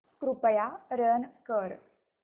कृपया रन कर